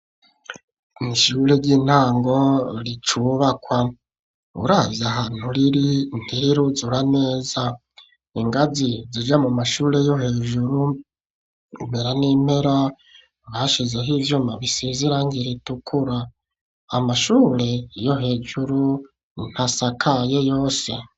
Ishure ry'intango ricubakwa uravye ahantu riri ntiruzura neza ingazi zija mu mashure yo hejuru impera n'impera bashizeho ivyuma bisize irangi ritukura, amashure yo hejuru ntasakaye yose.